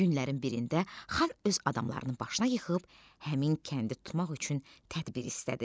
Günlərin birində xan öz adamlarını başına yığıb həmin kəndi tutmaq üçün tədbir istədi.